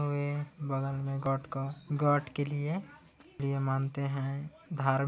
हमे बगल मे गोटका गाट के लिए यह मानते है धार --